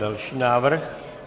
Další návrh.